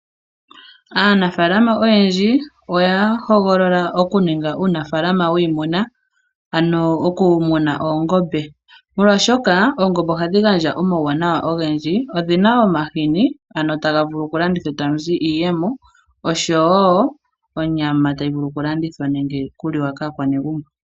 Aanafaalama oyendji oya hogolola okuninga uunafalama wiimuna ano oku muna oongombe, molwaashoka oongombe ohadhi gandja omauwanawa ogendji, odhina woo omahini ano taga vulu okulandithwa e ta mu zi iiyemo nosho woo onyama tayi vulu okulandithwa nenge tayi li wa kaakwanegumbo.